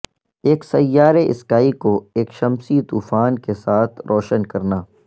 ایک سیارے اسکائی کو ایک شمسی طوفان کے ساتھ روشن کرنا